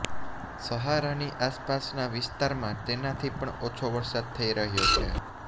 સહારાની આસપાસના વિસ્તારમાં તેનાથી પણ ઓછો વરસાદ થઈ રહ્યો છે